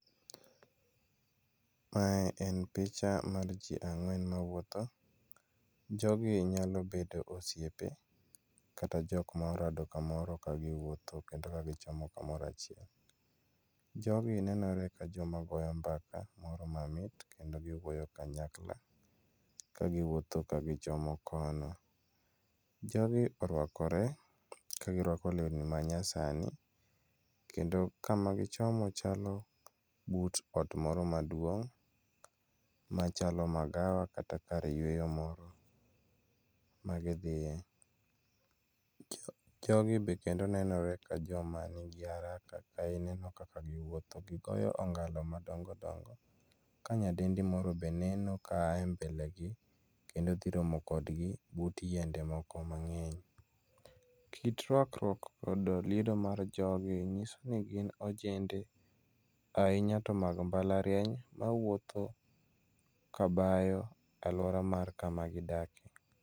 Mae en picha mar ji ang'wen mawuotho, jogi nyalo bedo osiepe kata jok ma orado kagiwuotho kendo gichomo kamoro achiel. Jogi nenore ni gidhi kamoro achiel kendo giwuotho kanyakla. Ka giwuotho kagichomo kono. Jogi oruakore ka giruako lewni manyaani kendo kama gichomo chalo but ot moro maduong' machalo magawa kata kar yueyo moro ma gidhiye. Jogi be nenore ni gin kod araka kaluwore gi kaka giwuotho gigoyo ongalo madongo dongo ka nyadendi moro be neno ka en e mbelegi kendo dhi romo kodgi but yiende moko mang'eny. Kit ruakruok koda liedo mar jogi nyiso ni gin ojende ahunya to mag mbalariany mawuotho kabayo e aluora mar kama wadakie.